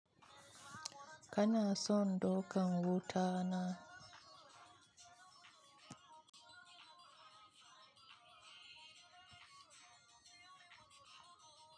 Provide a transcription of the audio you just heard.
Kana son dauka wuta na?